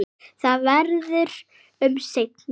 Það verður um seinan.